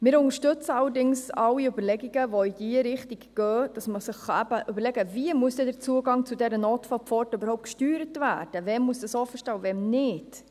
Allerdings unterstützen wir alle Überlegungen, welche in diese Richtung gehen, sodass man sich überlegen kann, wie der Zugang zu dieser Notfallpforte gesteuert werden muss und wann nicht.